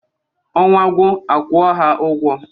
Ọnwa gwụ a kwuo ha ụgwọ.